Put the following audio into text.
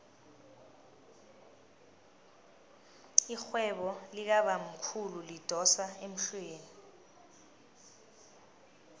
irhwebo likabamkhulu lidosa emhlweni